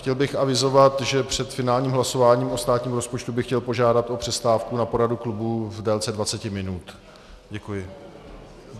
Chtěl bych avizovat, že před finálním hlasováním o státním rozpočtu bych chtěl požádat o přestávku na poradu klubu v délce 20 minut. Děkuji.